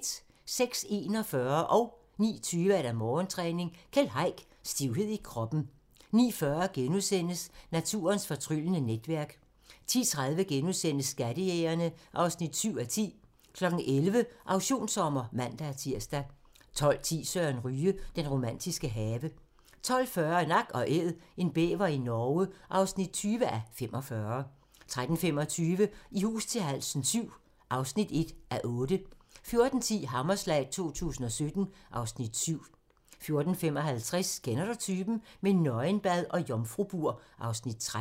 06:41: Morgentræning: Keld Heick – Stivhed i kroppen 09:20: Morgentræning: Keld Heick – Stivhed i kroppen 09:40: Naturens fortryllende netværk * 10:30: Skattejægerne (7:10)* 11:00: Auktionssommer (man-tir) 12:10: Søren Ryge: Den romantiske have 12:40: Nak & Æd – en bæver i Norge (20:45) 13:25: I hus til halsen VII (1:8) 14:10: Hammerslag 2017 (Afs. 7) 14:55: Kender du typen? - med nøgenbad og jomfrubur (Afs. 13)